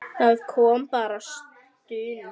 Það kom bara stuna.